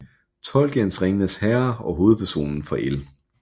Tolkiens Ringenes Herre og hovedpersonen fra L